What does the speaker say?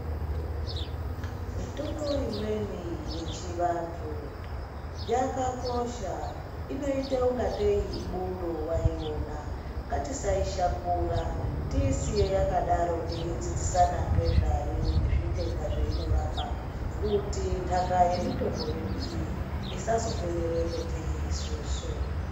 Mitombo imweni yechivantu, yakakosha inoyita ungateyi ibundo wayiona, ngatisayishakura, tiyisiye yakadaro teyi dzidzisana ngezvayo, nezvitenda zvayinorapa kuti ndaka yemitombo yedu iyi, isazoperera patiri isusu.